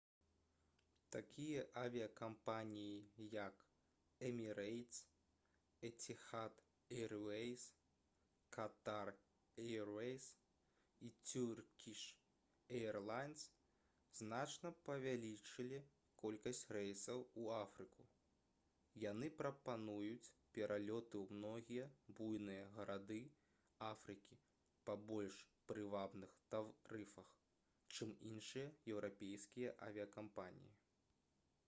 такія авіякампаніі як «эмірэйтс» «эціхад эйруэйс» «катар эйруэйс» і «цюркіш эйрлайнс» значна павялічылі колькасць рэйсаў у афрыку. яны прапануюць пералёты ў многія буйныя гарады афрыкі па больш прывабных тарыфах чым іншыя еўрапейскія авіякампаніі